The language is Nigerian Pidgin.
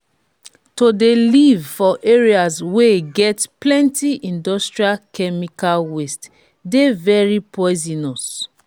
to de live for areas wey get plenty industrial chemical waste de very poisionous